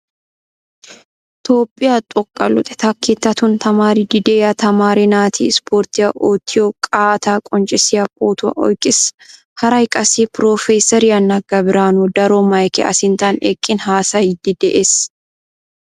Toophphiyaa xooqqa luxettaa keettaattun tamaaridi deiya tamaare naati Isiporttiyaa oottiyo qaatta qonccissiya pootuwaa oyqqiiis. Haraay qassi Professeriyaa Naga Biranu daro maykke a sinttan eqqin haasayidi de"ees.